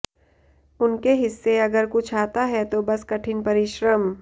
उनके हिस्से अगर कुछ आता है तो बस कठिन परिश्रम